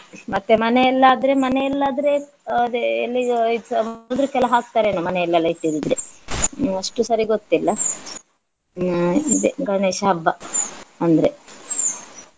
ಮತ್ತೆ ಮನೆಯಲ್ಲಾದ್ರೆ ಮನೆಯಲ್ಲಾದ್ರೆ ಅದೇ ಎಲ್ಲಿಗೂ ಹಾಕ್ತಾರೆ ಏನಾ ಮನೆಯಲ್ಲೆಲ್ಲ ಇಟ್ಟಿದಿದ್ರೆ ಅಷ್ಟು ಸರಿ ಗೊತ್ತಿಲ್ಲ. ಹ್ಮ್ ಇದೇ ಗಣೇಶ ಹಬ್ಬ ಅಂದ್ರೆ.